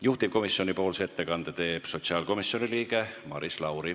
Juhtivkomisjoni ettekande teeb sotsiaalkomisjoni liige Maris Lauri.